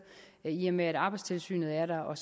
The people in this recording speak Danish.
i og med at arbejdstilsynet er der og